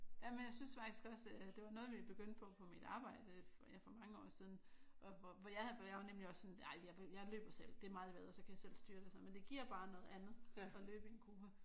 Jamen jeg synes faktisk også det var noget vi begyndte på på mit arbejde ja for mange år siden og hvor jeg havde for jeg var nemlig også sådan ej jeg vil jeg løber selv. Det er meget bedre. Så kan jeg selv styre det og sådan noget. Men det giver bare noget andet at løbe i en gruppe